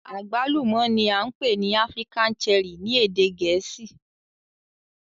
Agbalumo ni a npe ni African Cherry ni ede Gẹẹsi